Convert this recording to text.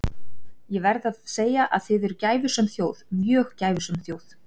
Ég verð að segja að þið eruð gæfusöm þjóð, mjög gæfusöm þjóð.